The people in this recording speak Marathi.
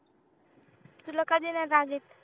तुला कधी नाही राग येत